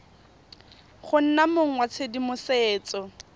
go nna mong wa tshedimosetso